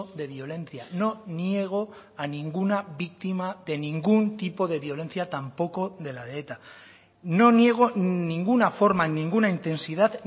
de violencia no niego a ninguna víctima de ningún tipo de violencia tampoco de la de eta no niego ninguna forma ninguna intensidad